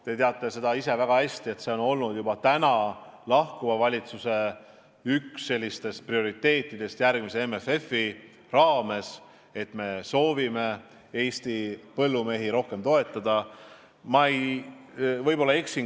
Te teate seda väga hästi, et see on olnud ka üks lahkuva valitsuse prioriteetidest järgmise MFF-i raames, et me soovime Eesti põllumehi rohkem toetada.